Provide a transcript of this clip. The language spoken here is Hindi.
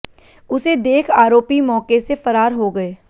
उसे देख आरोपी मौके से फरार हो गए